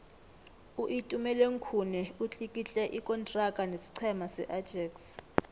uitumeleng khune utlikitle ikontraga nesiqhema seajax